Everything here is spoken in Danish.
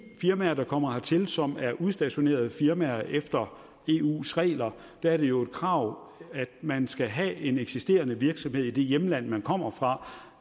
firmaer der kommer hertil som er udstationerede firmaer efter eus regler er det jo et krav at man skal have en eksisterende virksomhed i det hjemland man kommer fra